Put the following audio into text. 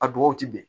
A bɔgɔw ti bɛn